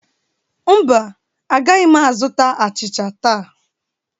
Mba, agaghị m azụta achịcha taa.